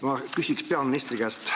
Ma küsin peaministri käest.